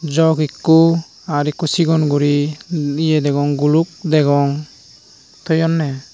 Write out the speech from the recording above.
jog eko aar eko sigon guri yeh degong gulok degong toyoneh.